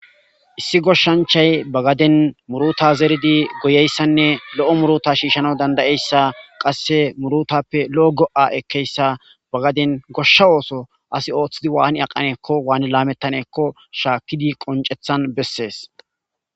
Issi goshshanchayi baa gadeni muruta goyidi goyiyayisanne muruta shishanswu deiyayisanne qase murutta loo go ekiyayisa ba gadeni godhsha otho ASI oththidi wani aqanakkonne wanni lametanakkonne shakkidi qoniccethtani besesi